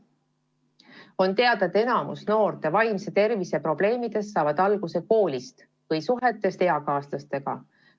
On teada, et enamik noorte vaimse tervise probleemidest saavad alguse koolist või suhetest eakaaslastega.